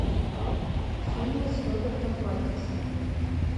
фильмы с робертом паттинсоном